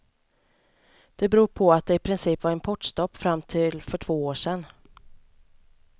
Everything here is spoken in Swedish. Det beror på att det i princip var importstopp fram till för två år sedan.